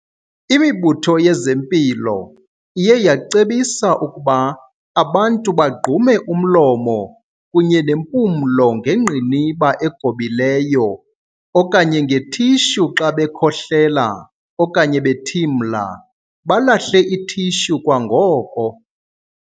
Imibutho yezempilo iye yacebisa ukuba abantu bagqume umlomo kunye nempumlo ngengqiniba egobileyo okanye nge-tissue xa bekhohlela okanye bethimla, balahle i-tissue kwangoko.